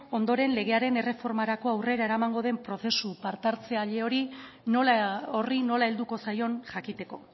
ondoren legearen erreformarako aurrera eramango den prozesu partehartzaile horri nola helduko zaion jakiteko